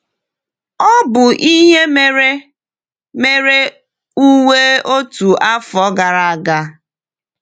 Ọ bụ ihe mere mere Uwe otu afọ gara aga.